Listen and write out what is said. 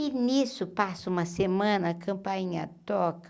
E nisso passa uma semana, a campainha toca.